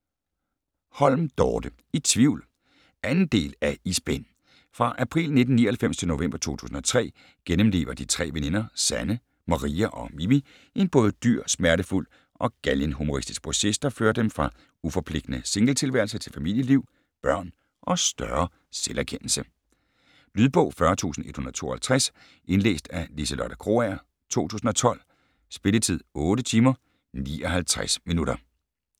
Holm, Dorte: I tvivl 2. del af I spænd. Fra april 1999 til november 2003 gennemlever de tre veninder Sanne, Maria og Mimi en både dyr, smertefuld og galgenhumoristisk proces, der fører dem fra uforpligtende singletilværelse til familieliv, børn og større selverkendelse. Lydbog 40152 Indlæst af Liselotte Krogager, 2012. Spilletid: 8 timer, 59 minutter.